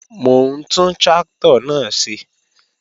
Mò ń tún tráktọ̀ náà ṣe